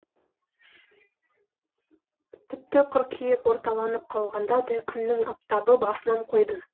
тіпті қыркүйек орталанып қалғанда да күннің аптабы басынан қойды